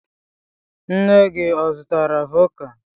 Nne gị ọ zụtara vọdka?